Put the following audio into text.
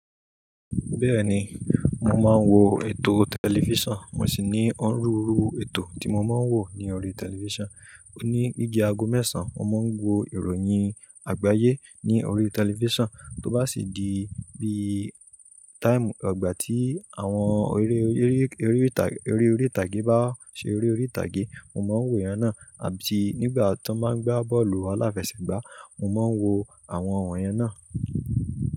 Bẹ́ẹ̀ni, mo máa ń wo ètò tẹlifíṣàn, mo sì ní òóruù ruu ètò tí mo máa ń wò ní orí tẹlifíṣàn. Ní deede àgó mẹ́sàn-án, mo máa ń wo ìròyìn àgbáyé ní orí tẹlifíṣàn, tó bá sì di bí i táìmù, ìgbà tí àwọn eré eré eré ìtàgé bá ṣe eré ìtàgé, mo máa ń wò yẹn náà, àbí nígbà tó máa ń gbá bọ́ọ̀lù aláfẹsẹ̀gbá, mo máa ń wo àwọn ọ̀hùn yẹn náà.